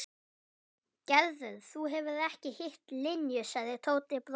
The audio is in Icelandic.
Gerður, þú hefur ekki hitt Linju sagði Tóti brosandi.